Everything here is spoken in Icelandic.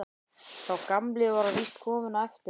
Sá gamli var víst kominn á eftirlaun.